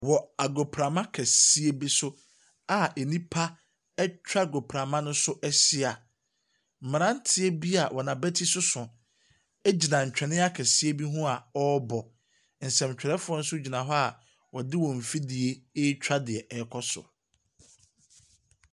Wɔ agopama kɛseɛ bi so, a enipa ɛtwa agoprama no so ɛhyia, mmaranteɛ bi a wɔn abɛti soso egyina ntwene akɛseɛ bi hɔ a ɔrebɔ. Nsɛmtwerɛfoɔ nso gyina hɔ a wɔde wɔn mfidie ɛtwa deɛ ɛrekɔ so.